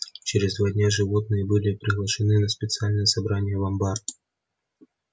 через два дня животные были приглашены на специальное собрание в амбар